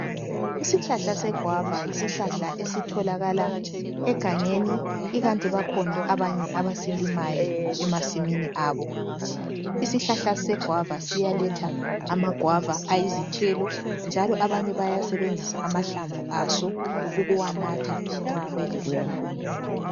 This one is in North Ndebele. Isihlahla seguava yisihlahla esitholakala egangeni ikanti bakhona abasilimayo emasimini abo. Isihlahla seguava siyaletha ama guava ayizithelo njalo abanye bayasebenzisa amahlamvu aso ukuwanatha nxa beleflue.